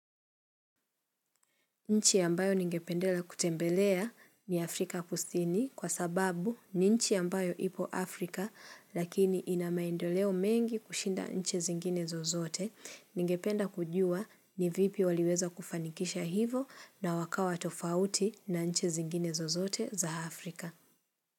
Nchi ambayo ningependela kutembelea ni Afrika kusini kwa sababu ni nchi ambayo ipo Afrika lakini ina maendoleo mengi kushinda nchi zingine zozote ningependa kujua ni vipi waliweza kufanikisha hivo na wakawa tofauti na nchi zingine zozote za Afrika.